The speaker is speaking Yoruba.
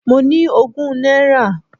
Mo ní ogún náírà.